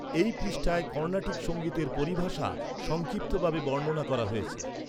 এই পৃষ্ঠায় কর্ণাটিক সঙ্গীতের পরিভাষা সংক্ষিপ্তভাবে বর্ণনা করা হয়েছে।